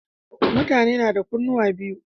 Mutane nada kunnuwa biyu